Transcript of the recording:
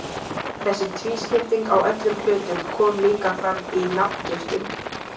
Þessi tvískipting á öllum hlutum kom líka fram í nafngiftum.